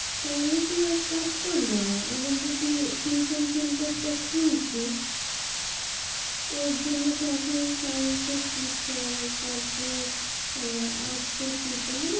তাহলে তুই এক কাজ কর না, আমার যে tui~ tuition center টা খুলছি, ওর জন্য তো এখন science এর teacher তারপর arts এর teacher মানে